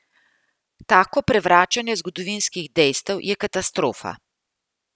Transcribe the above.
Tako prevračanje zgodovinskih dejstev je katastrofa.